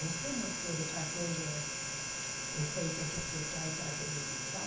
Você não quer fazer efeitos especiais para a televisão?